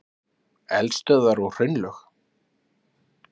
Eldstöðvar og hraunlög.